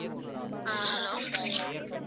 ஆஹ் hello